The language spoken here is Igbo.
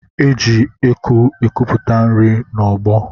E ji eku ekuputa nri n'ọgbọ